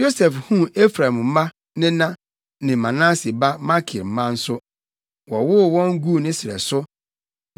Yosef huu Efraim mma nena ne Manase ba Makir mma nso. Wɔwoo wɔn guu ne srɛ so.